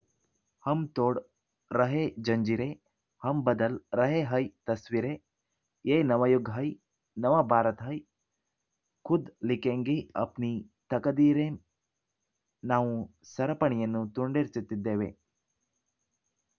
ಹಮ್‌ ತೋಡ್‌ ರಹೇ ಜಂಜೀರೆ ಹಮ್‌ ಬದಲ್‌ ರಹೇ ಹೈ ತಸ್ವೀರೆ ಯೇ ನವಯುಗ್‌ ಹೈ ನವ ಭಾರತ ಹೈ ಖುದ್‌ ಲಿಖೇಂಗೇ ಅಪ್ನೀ ತಕದೀರೇಂ ನಾವು ಸರಪಣಿಯನ್ನು ತುಂಡರಿಸುತ್ತಿದ್ದೇವೆ